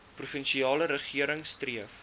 provinsiale regering streef